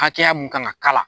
Hakɛya mun kan ka k'a la.